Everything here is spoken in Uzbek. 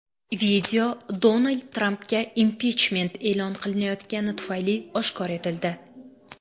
Video Donald Trampga impichment e’lon qilinayotgani tufayli oshkor etildi.